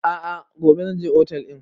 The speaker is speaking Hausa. A'a gobe zan je otel ɗin